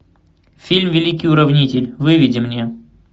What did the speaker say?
фильм великий уравнитель выведи мне